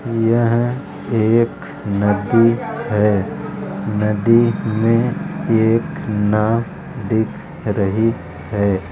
यह एक नदी है नदी में एक नाव दिख रही है।